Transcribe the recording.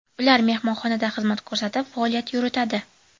Ular mehmonxonada xizmat ko‘rsatib, faoliyat yuritadi.